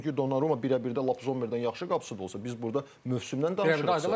Çünki Donnarumma birə-birdə lap Zommerdən yaxşı qapıcı olsa da, biz burda mövsümdən danışırıq.